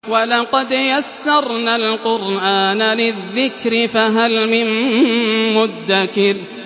وَلَقَدْ يَسَّرْنَا الْقُرْآنَ لِلذِّكْرِ فَهَلْ مِن مُّدَّكِرٍ